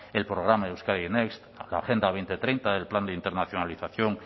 el programa euskadi next la agenda dos mil treinta el plan de internacionalización